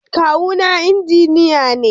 Kawuna Injiniya ne.